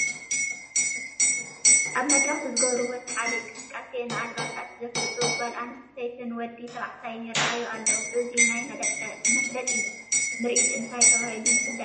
ኣብ መድረኽ ብዝገብርዎ ሰሓቢ እንቅስቃሴ ንኣልባሳት ዘፋልጡ ጓል ኣንስተይትን ወዲ ተባዕታይን ይርአዩና ኣለዉ፡፡ እዚ ናይ መፋለጢ ምርኢት እንታይ ተባሂሉ ይፍለጥ?